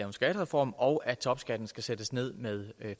en skattereform og at topskatten skal sættes ned med